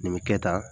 Nin bɛ kɛ tan